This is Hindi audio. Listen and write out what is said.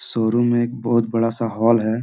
शोरूम में एक बहुत बड़ा सा हॉल है।